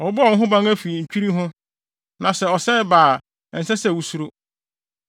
Wɔbɛbɔ wo ho ban afi ntwirii ho na sɛ ɔsɛe ba a ɛnsɛ sɛ wusuro.